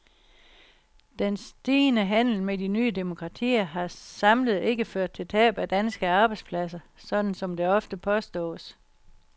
Den stigende handel med de nye demokratier har samlet ikke ført til tab af danske arbejdspladser, sådan som det ofte påstås.